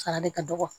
Sara de ka dɔgɔ